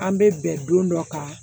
An bɛ bɛn don dɔ kan